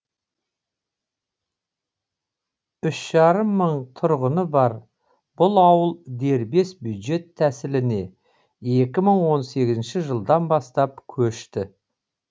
үш жарым мың тұрғыны бар бұл ауыл дербес бюджет тәсіліне екі мың он сегізінші жылдан бастап көшті